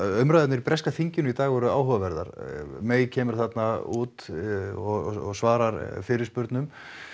umræðurnar í breska þinginu í dag voru áhugaverðar kemur þarna út og svarar fyrirspurnum